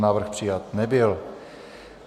Návrh přijat nebyl.